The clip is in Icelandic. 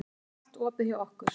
Það er allt opið hjá okkur.